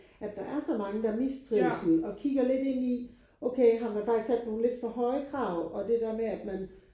At der er så mange der mistrives og kigger lidt ind i okay har man faktisk sat nogle lidt for høje krav og det der med at man